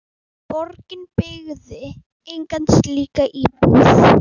Borgin byggði enga slíka íbúð.